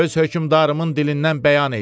Öz hökmdarımın dilindən bəyan eləyirəm.